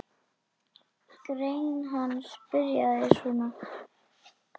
Grein hans byrjaði svona